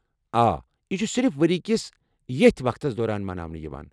آ، یہ چھُ صِرف ؤرِیہ كِس ییتھ وقتس دوران مناونہٕ یوان ۔